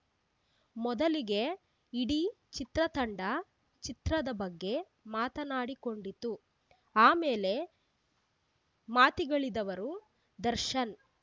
ಮೊದಲಿಗೆ ಇಡೀ ಚಿತ್ರ ತಂಡ ಚಿತ್ರದ ಬಗ್ಗೆ ಮಾತಾಡಿಕೊಂಡಿತು ಆಮೇಲೆ ಮಾತಿಗಳಿದವರು ದರ್ಶನ್‌